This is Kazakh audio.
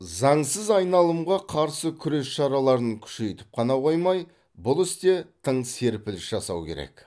заңсыз айналымға қарсы күрес шараларын күшейтіп қана қоймай бұл істе тың серпіліс жасау керек